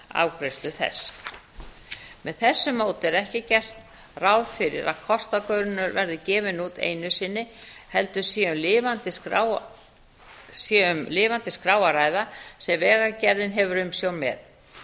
afgreiðslu þess með þessu móti er ekki gert ráð fyrir að kortagrunnur verði gefinn út einu sinni heldur sé um lifandi skrá að ræða sem vegagerðin hefur umsjón með